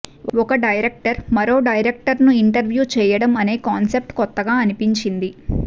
ఒక డైరెక్టర్ మరో డైరెక్టర్ను ఇంటర్వ్యూ చెయ్యడం అనే కాన్సెప్ట్ కొత్తగా అనిపించింది